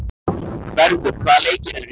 Bergur, hvaða leikir eru í kvöld?